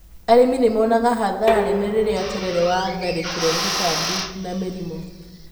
Arĩmi nĩ monaga hathara nene rĩrĩa terere wa tharĩkĩrwo nĩ tũtambi na mĩrimũ.